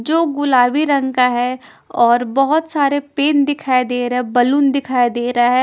जो गुलाबी रंग का है और बहुत सारे पेन दिखाई दे रहे हैं बलून दिखाई दे रहा है।